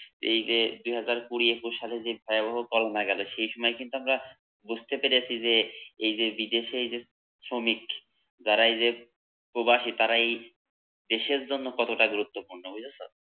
এই যে দুই হাজার কুড়ি একুশ সালে যে ভয়াবহ করোনা গেলো সে সময় কিন্তু আমরা বুঝতে পেরেছি যে এই যে, বিদেশে এই যে শ্রমিক যারা এই যে প্রবাসী, তারা এই দেশের জন্য কতটা গুরুত্বপূর্ণ বুঝেছো